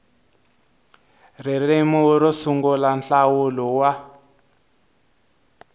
ririmi ro sungula nhlawulo wa